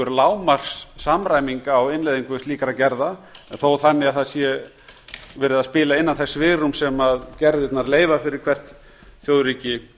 lágmarks samræming á innleiðingu slíkra gerða þó þannig að það sé verið að spila innan þess svigrúms sem gerðirnar leyfa fyrir hvert þjóðríki